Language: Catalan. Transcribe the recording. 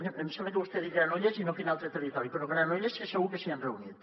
em sembla que vostè ha dit granollers i no quin altre territori però granollers és segur que s’hi han reunit